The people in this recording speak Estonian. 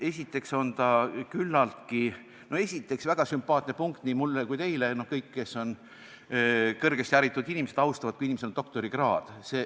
Esiteks on väga sümpaatne punkt nii mulle kui ka teile, kõigile, kes on kõrgesti haritud inimesed, see, kui inimesel on doktorikraad.